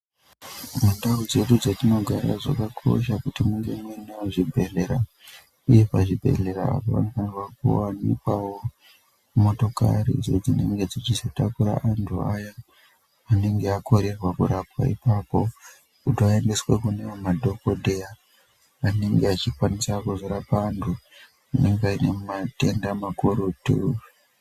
Mundau dzedu dzetinogara zvakakosha kuti munge munewo zvibhedhlera, uye pazvibhedhlera apa panofanirwa kuwanikwawo motokari idzo dzinenge dzichizotakura antu aya anenge akorerwa kurapwa ipapo, kuti ayendeswe kune amweni madhokoteya anenge achikwanisa kuzorapa vantu vanenge vane matenda makurutu.